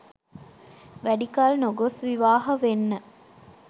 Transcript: වැඩිකල් නොගොස් විවාහ වෙන්න.